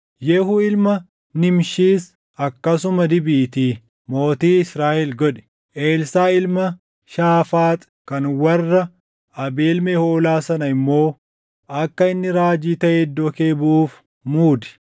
Yehuu ilma Nimshiis akkasuma dibiitii mootii Israaʼel godhi; Elsaaʼi ilma Shaafaaxi kan warra Abeel Mehoolaa sana immoo akka inni raajii taʼee iddoo kee buʼuuf muudi.